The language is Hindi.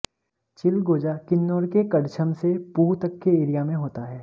चिलगोजा किन्नाैर के कड़छम से पूह तक के एरिया में हाेता है